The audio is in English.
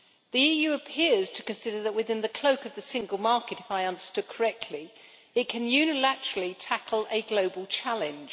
The EU appears to consider that within the cloak of the single market if I understood correctly it can unilaterally tackle a global challenge.